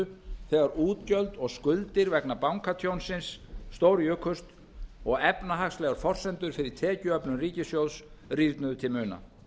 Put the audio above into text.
þegar útgjöld og skuldir vegna bankatjónsins stórjukust og efnahagslegar forsendur fyrir tekjuöflun ríkissjóðs rýrnuðu til muna